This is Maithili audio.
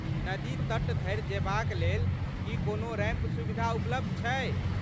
नदी तट धरि जेबाक लेल, की कोनो रैंप सुविधा उपलब्ध छै?